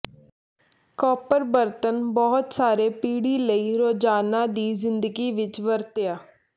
copper ਬਰਤਨ ਬਹੁਤ ਸਾਰੇ ਪੀੜ੍ਹੀ ਲਈ ਰੋਜ਼ਾਨਾ ਦੀ ਜ਼ਿੰਦਗੀ ਵਿੱਚ ਵਰਤਿਆ